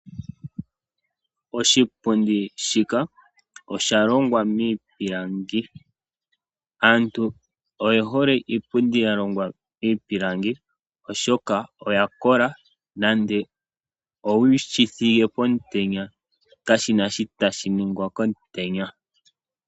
Oshipundi shika, osha longwa miipilangi. Aantu oye hole iipundi ya longwa miipilangi, oshoka oya kola, nande owu shi thige pomutenya kashi na shi tashi ningwa komutenya.